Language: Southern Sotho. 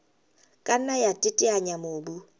ka nna ya teteanya mobu